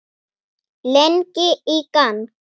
Lengi í gang.